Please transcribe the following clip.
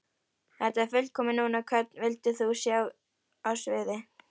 Þetta er fullkomið núna Hvern vildir þú sjá á sviði?